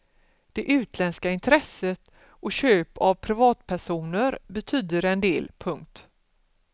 Det utländska intresset och köp av privatpersoner betyder en del. punkt